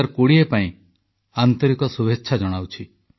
ମୁଁ ସମସ୍ତ ଦେଶବାସୀଙ୍କୁ 2020 ପାଇଁ ଆନ୍ତରିକ ଶୁଭେଚ୍ଛା ଜଣାଉଛି